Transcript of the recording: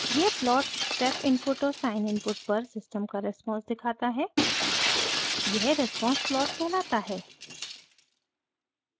यह plot step input और sine input पर सिस्टम का रेस्पॉन्स दिखाता है यह response plot कहलाता है